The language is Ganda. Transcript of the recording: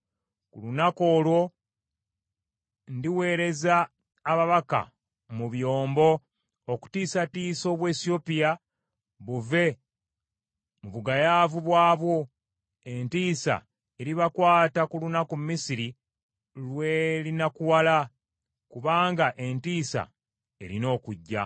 “ ‘Ku lunaku olwo ndiweereza ababaka mu byombo okutiisatiisa Obuwesiyopya buve mu bugayaavu bwabwo. Entiisa eribakwata ku lunaku Misiri lwe linakuwala, kubanga entiisa erina okujja.